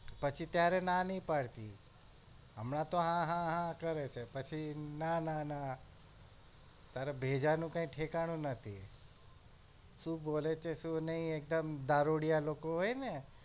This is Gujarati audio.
પછી ત્યારે ના ની પાડતી હમણાં તો હા હા હા કરે છે પછી ના ના ના તારા ભેજા નું કાઈ ઠેકાનું નથી શું બોલે છે શું નહિ એકદમ દારૂડિયા લોકો હોય ને